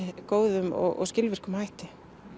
góðum og skilvirkum hætti